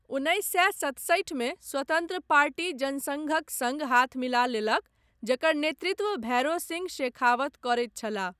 उन्नैस सए सतसठि मे स्वतन्त्र पार्टी जनसङ्घक सङ्ग हाथ मिला लेलक जकर नेतृत्व भैरों सिंह शेखावत करैत छलाह।